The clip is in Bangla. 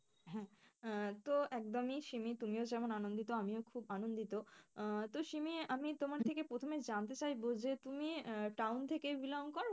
হম তো একদমই শিমি তুমিও যেমন আনন্দিত আমিও খুব আনন্দিত, আহ তো শিমি আমি তোমার থেকে প্রথমে জানতে চাইবো যে তুমি আহ town থেকে belong করো?